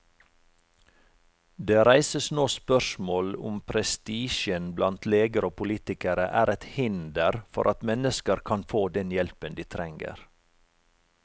Det reises nå spørsmål om prestisjen blant leger og politikere er et hinder for at mennesker kan få den hjelpen de trenger.